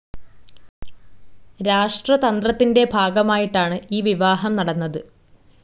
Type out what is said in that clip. രാഷ്ട്രതന്ത്രത്തിന്റെ ഭാഗമായിട്ടാണ് ഈ വിവാഹം നടന്നത്.